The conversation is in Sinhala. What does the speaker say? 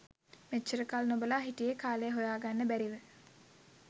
මෙච්චර කල් නොබලා හිටියේ කාලය හොයාගන්න බැරිව.